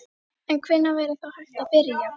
En hvenær væri þá hægt að byrja?